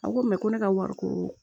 A ko ko ne ka wari ko